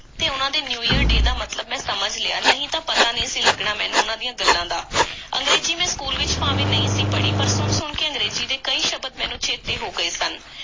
ਤੇ ਉਹਨਾਂ ਦੇ new year day ਦਾ ਮੈਂ ਮਤਲਬ ਸਮਝ ਲਿਆ, ਨਹੀਂ ਤਾਂ ਪਤਾ ਨਹੀਂ ਸੀ ਲੱਗਣਾ ਮੈਨੂੰ ਉਹਨਾਂ ਦੀਆਂ ਗੱਲਾਂ ਦਾ। ਅੰਗਰੇਜ਼ੀ ਮੈਂ ਸਕੂਲ ਵਿੱਚ ਭਾਵੇਂ ਨਹੀਂ ਸੀ ਪੜ੍ਹੀ, ਪਰ ਸੁਣ-ਸੁਣ ਕੇ ਅੰਗਰੇਜ਼ੀ ਦੇ ਕਈ ਸ਼ਬਦ ਮੈਨੂੰ ਚੇਤੇ ਹੋ ਗਏ ਸਨ।